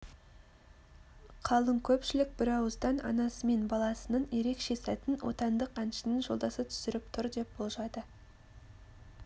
қалың көпшілік бір ауыздан анасы мен баласының ерекше сәтін отандық әншінің жолдасы түсіріп тұр деп болжады